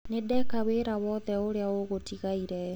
Nĩndeka wĩra wothe ũrĩa ũgũtigarĩte.